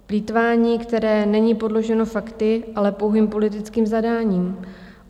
Plýtvání, které není podloženo fakty, ale pouhým politickým zadáním.